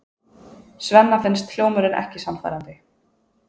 Svenna finnst hljómurinn ekki sannfærandi.